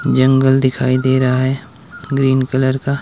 जंगल दिखाई दे रहा है ग्रीन कलर का।